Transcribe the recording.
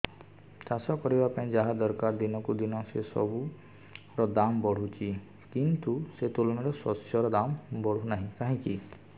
ଚାଷ କରିବା ପାଇଁ ଯାହା ଦରକାର ଦିନକୁ ଦିନ ସେସବୁ ର ଦାମ୍ ବଢୁଛି କିନ୍ତୁ ସେ ତୁଳନାରେ ଶସ୍ୟର ଦାମ୍ ବଢୁନାହିଁ କାହିଁକି